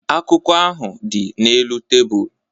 Akwụkwọ ahụ dị n'elu tebụl